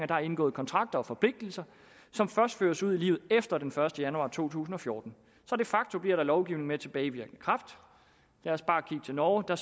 der er indgået kontrakter og forpligtelser som først føres ud i livet efter den første januar to tusind og fjorten så de facto bliver der lovgivet med tilbagevirkende kraft lad os bare kigge til norge der